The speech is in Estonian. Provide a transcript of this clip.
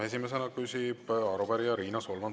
Esimesena küsib arupärija Riina Solman.